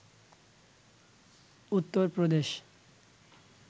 Uttar Pradesh